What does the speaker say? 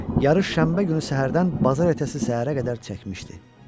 Yarış şənbə günü səhərdən bazar ertəsi səhərə qədər çəkmişdi.